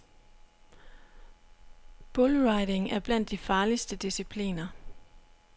Bullriding er blandt de farligste discipliner.